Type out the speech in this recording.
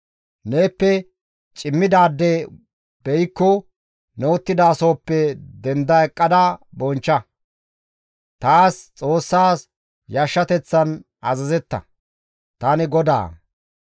« ‹Neeppe cimmidaade beykko ne uttidasohoppe denda eqqada bonchcha; taas Xoossas yashshateththan azazetta; tani GODAA.